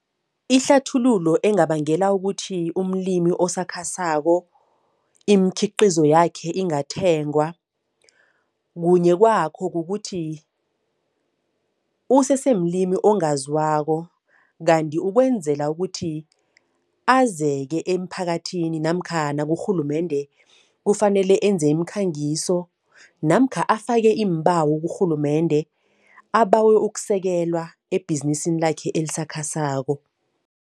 Ihlathululo engabangela ukuthi umlimi osakhasako imikhiqizo yakhe ingathengwa, kunye kwakho kukuthi usesemlimi ongaziwako kanti ukwenzela ukuthi azeke emphakathini namkha nakurhulumende, kufanele enze imikhangiso namkha afake iimbawo kurhulumende, abawe ukusekelwa ebhizinisini lakhe esisakhasako.